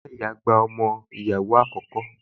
Ìyáàyá rẹ̀ gbé ọmọ ìyàwó àkókò